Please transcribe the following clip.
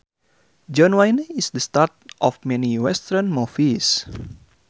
John Wayne is the star of many western movies